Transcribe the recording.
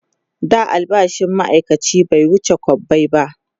da albashin maaikaci bai wuce kwabbai ba